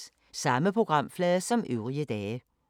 Samme programflade som øvrige dage